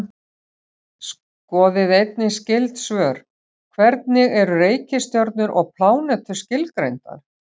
Skoðið einnig skyld svör: Hvernig eru reikistjörnur og plánetur skilgreindar?